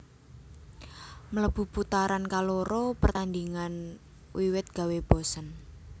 Mlebu putaran kaloro pertandhingan wiwit gawé bosen